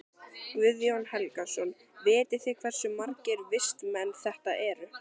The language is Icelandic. Guðjón Helgason: Vitið þið hversu margir vistmenn þetta eru?